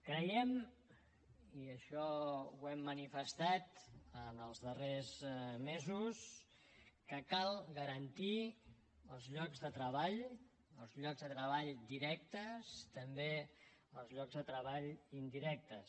creiem i això ho hem manifestat en els darrers mesos que cal garantir els llocs de treball els llocs de treball directes també els llocs de treball indirectes